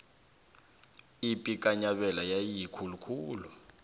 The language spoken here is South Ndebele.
ipi kanyabela yayiyikulu khulu